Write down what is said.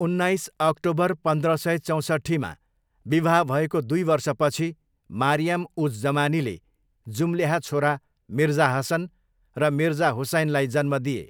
उन्नाइस अक्टोबर पन्ध्र सय चौसट्ठीमा विवाह भएको दुई वर्षपछि मारियाम उज जमानीले जुम्ल्याहा छोरा मिर्जा हसन र मिर्जा हुसैनलाई जन्म दिए।